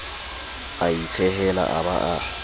a itshehela a ba a